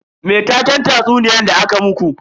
Me taken tatsuniyan da aka muku?